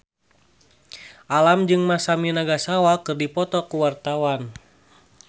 Alam jeung Masami Nagasawa keur dipoto ku wartawan